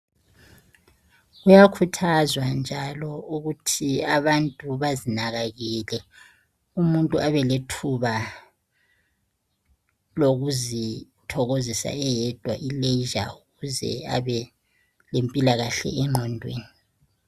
Kuyakhuthazwa njalo ukuthi abantu bezinakekele. Umuntu kumele abelethuba lokuzithokozisa eyedwa ukuze abe lempilakahle enhle.